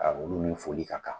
olu ni foli ka kan.